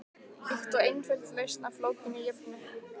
Líkt og einföld lausn á flókinni jöfnu.